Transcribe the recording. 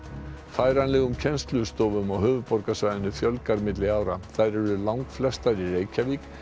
færanlegum kennslustofum á höfuðborgarsvæðinu fjölgar milli ára þær eru langflestar í Reykjavík